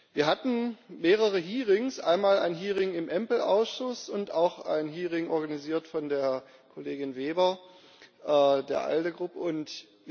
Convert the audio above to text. Wir hatten mehrere Hearings, einmal ein Hearing im EMPL Ausschuss und auch ein Hearing organisiert von der Kollegin Weber der ALDE Fraktion.